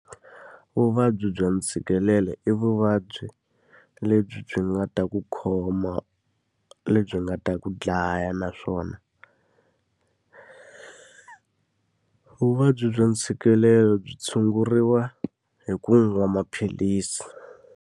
Vuvabyi bya ntshikelelo i vuvabyi lebyi byi nga ta ku khoma, lebyi nga ta ku dlaya. Naswona vuvabyi bya ntshikelelo byi tshunguriwa hi ku nwa maphilisi.